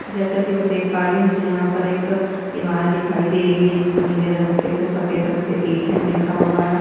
जैसा कि पर देख पा रही हुँ मुझे यहाँ पर एक इमारत दिखाई दे रही है जिस पे नीले रंग के सफ़ेद रंग से ए.टी.एम. लिखा हुआ है।